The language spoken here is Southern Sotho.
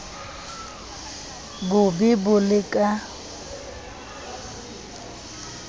bo be bo le ka